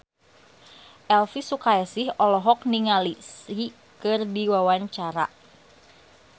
Elvy Sukaesih olohok ningali Psy keur diwawancara